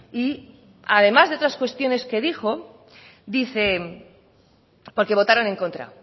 y además de otras cuestiones que dijo dice porque votaron en contra